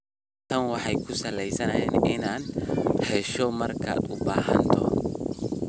Tani waxay kuu sahlaysaa inaad hesho markaad u baahato.